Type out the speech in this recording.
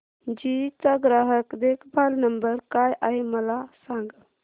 GE चा ग्राहक देखभाल नंबर काय आहे मला सांग